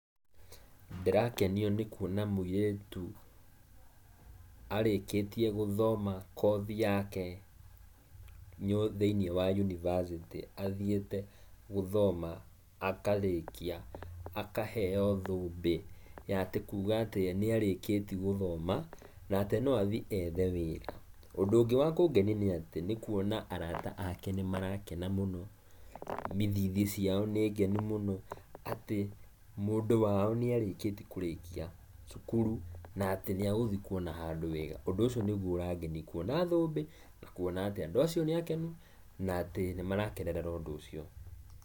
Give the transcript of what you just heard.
Ndĩrakenio nĩ kuona mũirĩtũ arĩkĩtie guthoma kothi yake thĩiniĩ wa yunibacĩtĩ athieĩte gũthoma akarĩkia, akaheo thũmbĩ ya atĩ kuuga atĩ nĩarĩkĩtie gũthoma, na atĩ no athiĩ ethe wĩra. Ũndũ ũngĩ wa kũngenia nĩ kuona arata ake nĩ marakena mũno, ithithi ciao nĩ ngenu mũno atĩ mũndũ wao nĩ arĩkĩtie kũrĩkia cukuru na atĩ nĩ agũthie kuona handũ wĩra ũndũ ũcio nĩgũo ũragenia kuona thũmbĩ na kuona atĩ andũ acio nĩ akenu, na atĩ nĩ marakenerera ũndu ũcio.